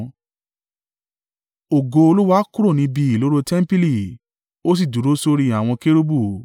Ògo Olúwa kúrò níbi ìloro tẹmpili, ó sì dúró sórí àwọn kérúbù.